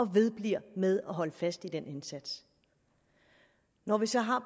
vedbliver med at holde fast i den indsats når vi så har